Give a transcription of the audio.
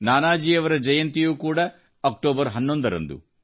ನಾನಾಜಿಯವರ ಜಯಂತಿಯೂ ಕೂಡ ಅಕ್ಟೋಬರ್ 11ರಂದು